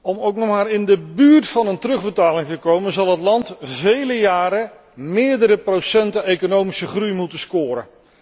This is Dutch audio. Om ook nog maar in de buurt van een terugbetaling te komen, zal het land vele jaren meerdere procenten economische groei moeten scoren.